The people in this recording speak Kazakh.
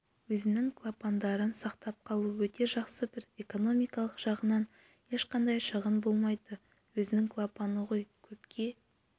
өзінің клапандарын сақтап қалу өте жақсы бірінші экономикалық жағынан ешқандай шығын болмайды өзінің клапаны ғой көпке